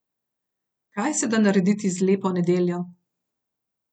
Kaj se da narediti z lepo nedeljo?